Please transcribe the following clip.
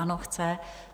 Ano, chce.